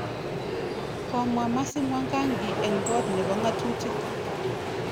Komwa MercyMwangangi en kot nebo ng'atutik